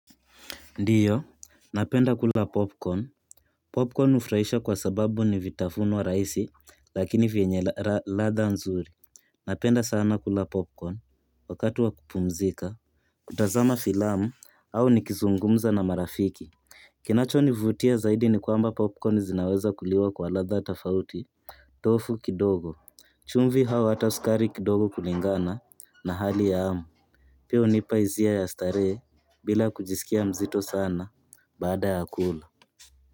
Ndiyo, napenda kula popcorn. Popcorn hufuraisha kwa sababu ni vitafuno wa rahisi lakini vyenye latha nzuri. Napenda sana kula popcorn wakati wa kupumzika kutazama filamu au nikizungumza na marafiki. Kinacho nivutia zaidi ni kwamba popcorn zinaweza kuliwa kwa latha tofauti. Tofu kidogo chumvi au hata sukari kidogo kulingana na hali ya amu. Pia hunipa hisia ya starehe bila kujisikia mzito sana. Badaa ya kula.